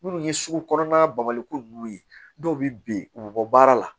Minnu ye sugu kɔnɔna bali ko nunnu ye dɔw bɛ bin u bɛ bɔ baara la